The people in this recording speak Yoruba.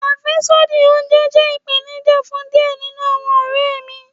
Afẹsodi ounjẹ jẹ ipenija fun diẹ ninu awọn ọrẹ mi